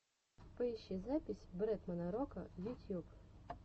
поищи запись бретмана рока ютьюб